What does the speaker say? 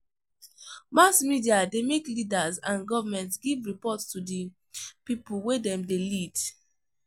Mass media de make leaders and government give report to di pipo wey dem de lead